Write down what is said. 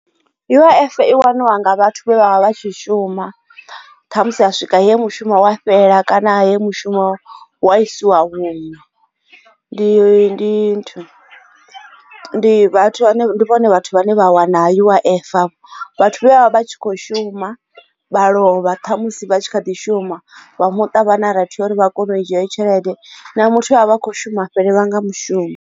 U_I_F i waniwa nga vhathu vha vha vha tshi shuma kha musi a swika he mushumo wa fhela kana he mushumo wa isiwa hunwe ndi ndi ndi vhone vhathu vhane vha wana U_I_F vhathu vha vha tshi kho shuma vha lovha tha musi vha tshi kha ḓi shuma vha muṱa vhana raithi uri vha kone u dzhia iyo tshelede na muthu a vha kho shuma a fhelelwa nga mushumo.